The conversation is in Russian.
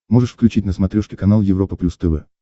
можешь включить на смотрешке канал европа плюс тв